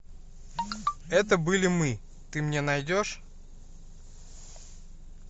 это были мы ты мне найдешь